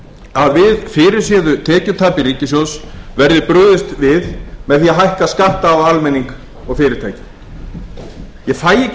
að við fyrirséðu tekjutapi ríkissjóðs verði brugðist við með því að fækka skatta á almenning og fyrirtæki ég fæ ekki